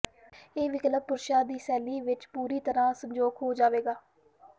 ਇਹ ਵਿਕਲਪ ਪੁਰਸ਼ਾਂ ਦੀ ਸ਼ੈਲੀ ਵਿਚ ਪੂਰੀ ਤਰ੍ਹਾਂ ਸੰਜੋਗ ਹੋ ਜਾਏਗਾ